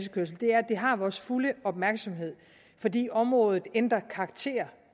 det har vores fulde opmærksomhed fordi området ændrer karakter